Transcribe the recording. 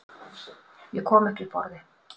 Ég kom ekki upp orði.